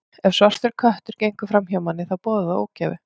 Ef svartur köttur gengur fram hjá manni, þá boðar það ógæfu.